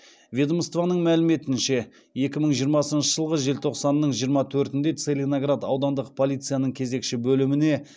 ведомствоның мәліметінше екі мың жиырмасыншы жылғы желтоқсанның жиырма төртінде целиноград аудандық полицияның кезекші бөліміне